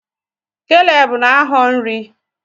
Caleb na agho nri